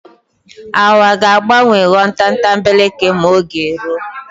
Awa ga-agbanwo ghọọ tatambeleke m'oge ruo.